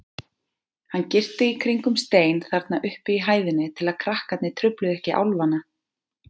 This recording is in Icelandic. Hann girti í kringum stein þarna uppi í hæðinni til að krakkarnir trufluðu ekki álfana.